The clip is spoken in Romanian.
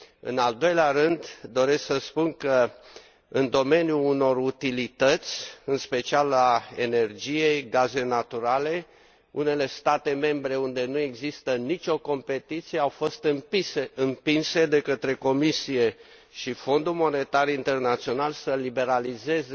În al doilea rând, doresc să spun că, în domeniul unor utilități, în special al energiei și al gazelor naturale, unele state membre unde nu există nicio competiție, au fost împinse de către Comisie și Fondul Monetar Internațional să liberalizeze